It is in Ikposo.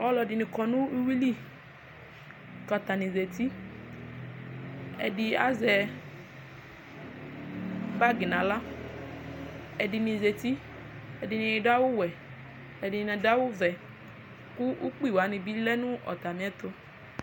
alʊɛɗɩnɩ ƙɔnʊ ʊƴʊɩlɩ ƙatanɩzatɩ ɛɗɩ azɛ golo nʊ ahla ɛɗɩni zatɩ ɛɗɩnɩ aɗʊ awʊ ɔwʊɛ ɛɗɩnɩa ɗʊ awʊ ɔʋɛ ƙʊ ʊgɓɩwanɩɓɩlɛnʊ atamɩ ɛtʊ